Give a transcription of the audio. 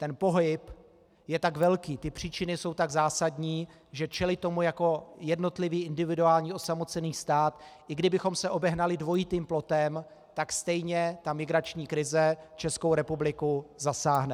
Ten pohyb je tak velký, ty příčiny jsou tak zásadní, že čelit tomu jako jednotlivý, individuální osamocený stát, i kdybychom se obehnali dvojitým plotem, tak stejně ta migrační krize Českou republiku zasáhne.